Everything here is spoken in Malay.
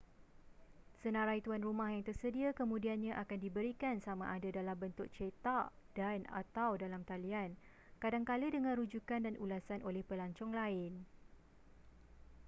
senarai tuan rumah yang tersedia kemudiannya akan diberikan sama ada dalam bentuk cetak dan/atau dalam talian kadangkala dengan rujukan dan ulasan oleh pelancong lain